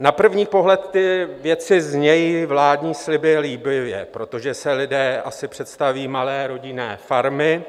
Na první pohled ty věcí zní - vládní sliby - líbivě, protože si lidé asi představí malé rodinné farmy